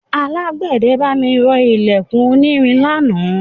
Alágbẹ̀dẹ bá mi rọ ilẹ̀kùn onírin lánàá.